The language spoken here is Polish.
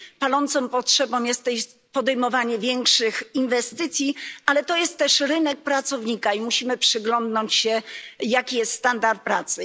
Palącą potrzebą jest podejmowanie większych inwestycji, ale to jest też rynek pracownika, dlatego musimy przyglądnąć się, jaki jest standard pracy.